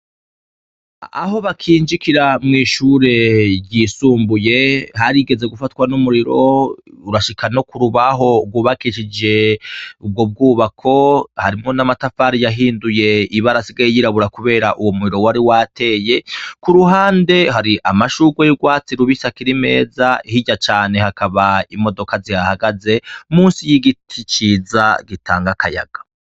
Aho bakinjikira mw'ishure ry'isumbuye, harigeze gufatwa n'umuriro urashika no kurubaho rwubakishije ubwo bwubako, harimwo n'amatafari yahinduye ibara asigaye y'irabura kubera uwo muriro wari wateye, kuruhande hari amashurwe y'urwatsi rubisi akiri meza, hirya cane hakaba imodoka zihahagaze, munsi y'igiti ciza gitanga akayaga.